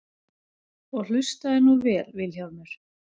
Og hlustaðu nú vel Vilhjálmur.